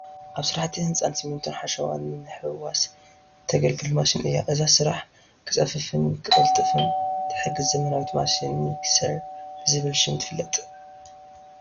ኣብ ስራሕቲ ህንፀት ስሚንቶን ሓሸዋን ንምሕዋስ ተገልግል ማሽን እያ፡፡ እዛ ስራሕ ክፀፍፍን ክቕልጥፍን ትሕግዝ ዘመናዊ ማሽን ሚክሰር ብዝብል ሽም ትፍለጥ፡፡